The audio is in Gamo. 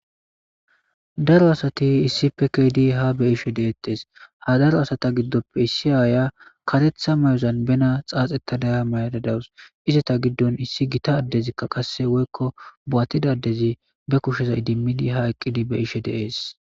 Daro asati issippe ke'idi ha be'ishe detes Ha daro asatu gidoppe issi aya karetha mayozan bena xaxetada mayada dawus izzeta gidon issi gitta adezika bo'atida adezi be kushe idimidi ha eqidi be'ishe dees